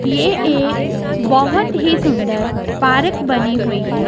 यह एक बहोत ही सुंदर पार्क बनी हुईं हैं।